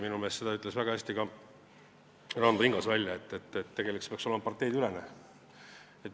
Minu meelest ütles väga hästi Ranno Tingas, et see peaks olema parteideülene.